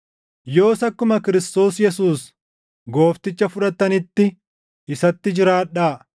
Yoos akkuma Kiristoos Yesuus Goofticha fudhattanitti isatti jiraadhaa;